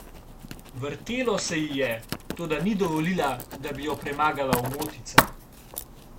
Vrtelo se ji je, toda ni dovolila, da bi jo premagala omotica.